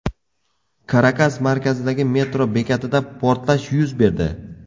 Karakas markazidagi metro bekatida portlash yuz berdi.